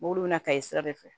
Mobili bɛ na ka ye sira de fɛ